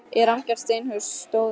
En rammgert steinhús stóð enn autt.